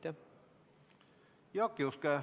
Jaak Juske, palun!